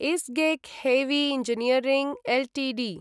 ISGEC heavy engineering Ltd